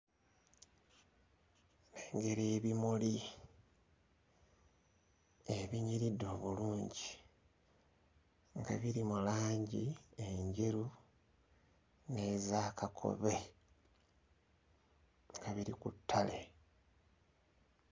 Nnengera ebimuli ebinyiridde obulungi nga biri mu langi enjeru n'eza kakobe nga biri ku ttale.